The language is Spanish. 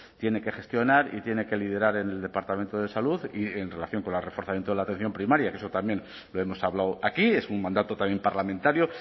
tiene que gestionar y tiene que liderar en el departamento de salud y en relación con el reforzamiento de la atención primaria que eso también lo hemos hablado aquí es un mandato también parlamentario